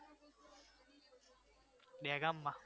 દહેગામમાં